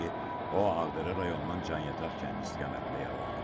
o Ağdərə rayonunun Can-Yataq kəndi istiqamətində yaralanıb.